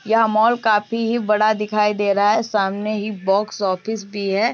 यह मॉल काफी ही बड़ा दिखाई दे रहा है सामने ही बॉक्स ऑफिस भी है।